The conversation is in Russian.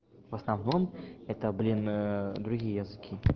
в основном это блин ээ другие языки